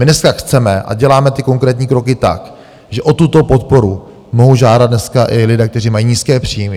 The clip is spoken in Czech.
My dneska chceme a děláme ty konkrétní kroky tak, že o tuto podporu mohou žádat dneska i lidé, kteří mají nízké příjmy.